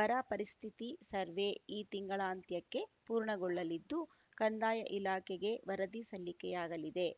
ಬರ ಪರಿಸ್ಥಿತಿ ಸರ್ವೆ ಈ ತಿಂಗಳಾಂತ್ಯಕ್ಕೆ ಪೂರ್ಣಗೊಳ್ಳಲಿದ್ದು ಕಂದಾಯ ಇಲಾಖೆಗೆ ವರದಿ ಸಲ್ಲಿಕೆಯಾಗಲಿದೆ